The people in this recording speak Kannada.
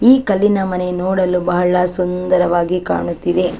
ಈ ಕಲ್ಲಿನ ಮನೆ ನೋಡಲು ಬಹಳ ಸುಂದರವಾಗಿ ಕಾಣುತ್ತಿದೆ .